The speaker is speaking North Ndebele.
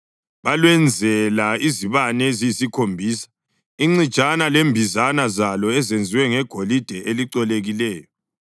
Balwenzela izibane eziyisikhombisa, incijana lembizana zalo ezenziwe ngegolide elicolekileyo.